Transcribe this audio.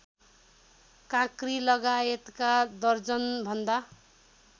काँक्री लगायतका दर्जनभन्दा